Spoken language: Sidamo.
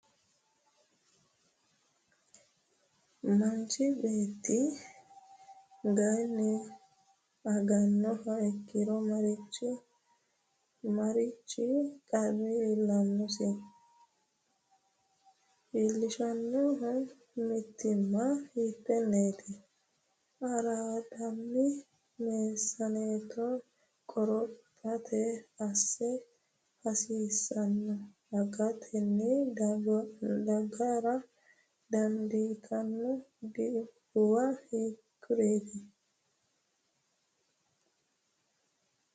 Manchi beeti ganye agannoha ikkiro marichi qarri iillannosi? iillishshanno mitiimma hiittenneeti? araadonni meessaneeto qorophate assa hasiissanno? agatenni daggara dandiitanno dhibbuwa hiikkuriiti?